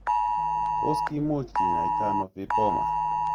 Tos kimuch kinyaitaiano vipoma?